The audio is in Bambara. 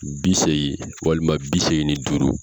Bi seegin walima bi seegnin ni duuru.